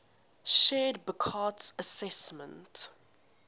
shared burckhardt's assessment